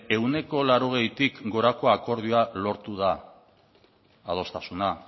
ehuneko laurogeitik gorako akordioa lortu da adostasuna